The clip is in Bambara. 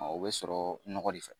O bɛ sɔrɔ nɔgɔ de fɛ.